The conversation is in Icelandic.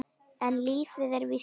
En lífið er víst svona.